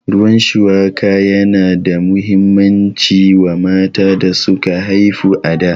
Ruwan shuwaka yana da muhimmanci wa mata da suka haifu a da